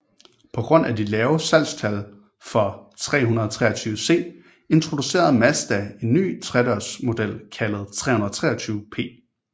På grund af de lave salgstal for 323C introducerede Mazda en ny tredørsmodel kaldet 323P